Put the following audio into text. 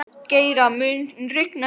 Geira, mun rigna í dag?